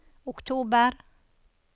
oktober